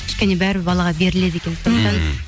кішкене бәрібір балаға беріледі екен мхм